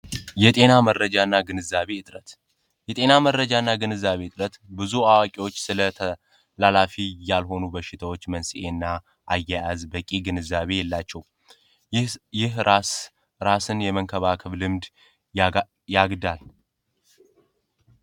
የጤና መረጃና ግንዛቤ እጥረት የጤና መረጃና ግንዛቤ ብዙ አዋቂዎች ስለ ተላላፊ ያልሆኑ በሽታዎች መንስኤና አያያዝ በቂ ግንዛቤ የላቸውም ራስን የመከላከልም ያግዳል።